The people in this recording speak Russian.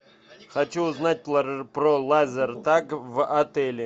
хочу узнать про лазертаг в отеле